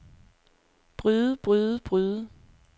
bryde bryde bryde